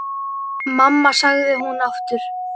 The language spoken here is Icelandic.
Mamma, sagði hún aftur.